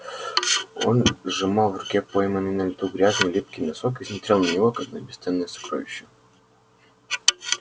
он сжимал в руке пойманный на лету грязный липкий носок и смотрел на него как на бесценное сокровище